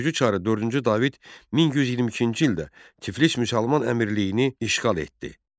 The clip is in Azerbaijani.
Gürcü çarı dördüncü David 1122-ci ildə Tiflis müsəlman əmirliyini işğal etdi.